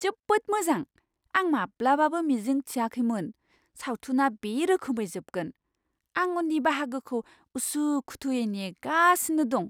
जोबोद मोजां! आं माब्लाबाबो मिजिं थिआखैमोन सावथुना बे रोखोमै जोबगोन। आं उननि बाहागोखौ उसुखुथुयै नेगासिनो दं!